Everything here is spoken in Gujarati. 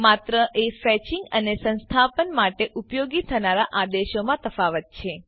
માત્ર એ ફેચીંગ અને સંસ્થાપન માટે ઉપયોગ થનાર આદેશોમાં તફાવત છે